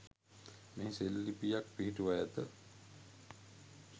මෙහි සෙල්ලිප්යක් පිහිටුවා ඇත.